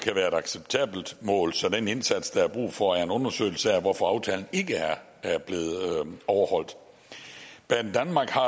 acceptabelt mål så den indsats der er brug for er en undersøgelse af hvorfor aftalen ikke er blevet overholdt banedanmark har